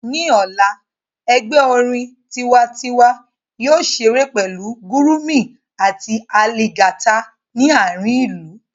Ní ọ̀la, ẹgbẹ́ orin tiwantiwa yóò ṣeré pẹ̀lú gurumi àti aligata ní àárín ìlú